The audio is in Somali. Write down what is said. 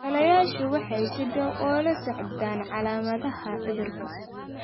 Dhallayaashu waxay si dhow ula socdaan calaamadaha cudurka.